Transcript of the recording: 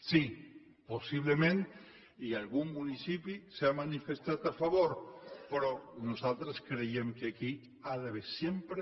sí possiblement algun municipi s’hi ha manifestat a favor però nosaltres creiem que aquí hi ha d’haver sempre